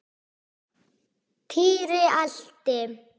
Týri elti.